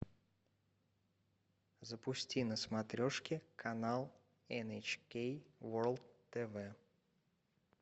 запусти на смотрешке канал эн эйч кей ворлд тв